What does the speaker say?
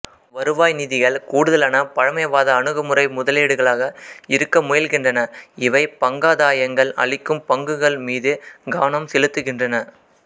வருவாய் நிதிகள் கூடுதலான பழமைவாத அணுகுமுறை முதலீடுகளாக இருக்க முயல்கின்றன இவை பங்காதாயங்கள் அளிக்கும் பங்குகள் மீது கவனம் செலுத்துகின்றன